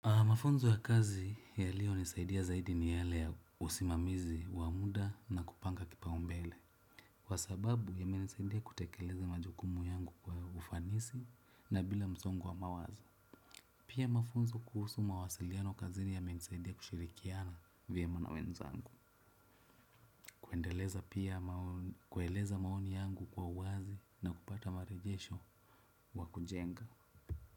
Mafunzo ya kazi yaliyonisaidia zaidi ni yale ya usimamizi wa muda na kupanga kipaumbele kwa sababu imenisaidia kutekeleza majukumu yangu kwa ufanisi na bila msongo wa mawazo. Pia mafunzo kuhusu mawasiliano kazini yamenisaidia kushirikiana vyema na wenzangu. Kuendeleza pia kueleza maoni yangu kwa uwazi na kupata marejesho wa kujenga.